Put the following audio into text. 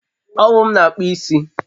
Owụ m na akpụ isi